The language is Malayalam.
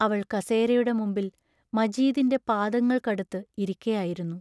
അവൾ കസേരയുടെ മുമ്പിൽ മജീദിന്റെ പാദങ്ങൾക്കടുത്ത് ഇരിക്കയായിരുന്നു.